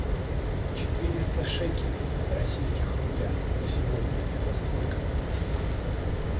четыреста шекелей в российских рублях на сегодня это сколько